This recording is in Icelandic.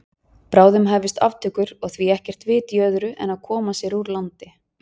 Bráðum hæfust aftökur og því ekkert vit í öðru en að koma sér úr landi.